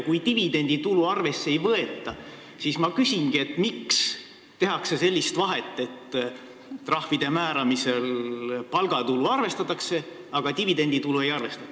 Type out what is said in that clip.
Kui dividenditulu arvesse ei võeta, siis ma küsin, miks tehakse sellist vahet, et trahvide määramisel palgatulu arvestatakse, aga dividenditulu ei arvestata.